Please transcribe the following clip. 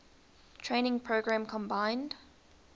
training program combined